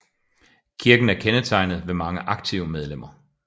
Kirken er kendetegnet ved mange aktive medlemmer